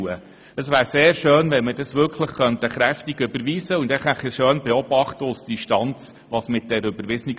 Es wäre sehr schön, wenn wir diese Vorstösse wirklich deutlich überweisen und aus Distanz beobachten könnten, was dann geschieht.